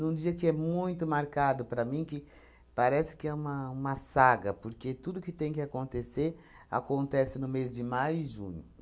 Num dia que é muito marcado para mim, que parece que é uma uma saga, porque tudo que tem que acontecer, acontece no mês de maio e junho.